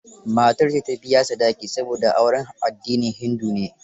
Matar ce ta biya sadaki, saboda auren addinin hindu ne.